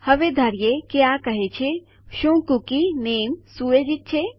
હવે ધારીએ કે આ કહે છે શું કુકી નામે સુયોજિત છે